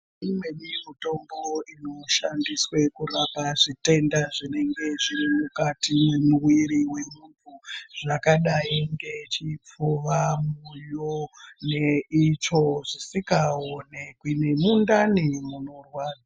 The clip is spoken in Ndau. Imweni mutombo inoshandiswe kurapa zvitenda zvinenge zvirimukati memuviri wentu zvakadai ngechipfuva, mwoyo neitsvo zvisikaonekwi, nemundani munorwa...